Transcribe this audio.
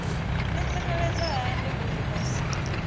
ḓitsireledza hani uri vha si